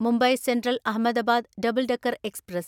Mumbai central Ahmedabad double decker express